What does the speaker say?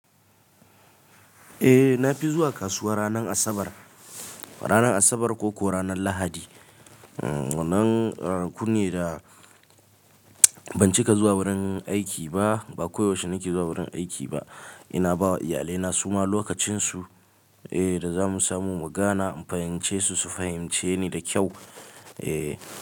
Eh na fi zuwa kasuwa ranan Asabar, ranan Asabar ko ko ranan Lahadi. Nan ranakune da ban cika zuwa wurin aiki ba, ba koyaushe nake zuwa wurin aiki ba. Ina bawa iyalaina suma lokacinsu, eh da zamu samu mugana in fahimce su, su fahimce ni da kyau. Eh.